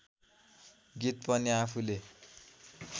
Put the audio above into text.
गीत पनि आफूले